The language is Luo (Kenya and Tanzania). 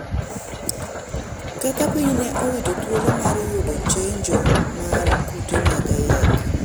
kaka piny ne owito thuolo mar yudo chenjo mar kute mag ayaki